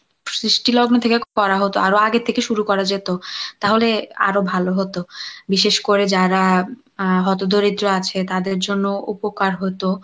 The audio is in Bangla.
সৃষ্টি লগ্ন থেকে করা হতো আরো আগের থেকে শুরু করা যেত, তাহলে আরো ভালো হতো বিশেষ করে যারা আহ হতদরিদ্র আছে তাদের জন্য উপকার হতো।